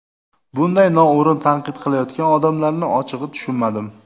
Bunday noo‘rin tanqid qilayotgan odamlarni ochig‘i tushunmadim”.